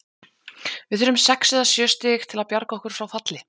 Við þurfum sex eða sjö stig til að bjarga okkur frá falli.